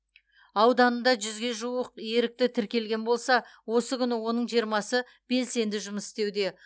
ауданында жүзге жуық ерікті тіркелген болса осы күні оның жиырмасы белсенді жұмыс істеуде